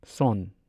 ꯁꯣꯟ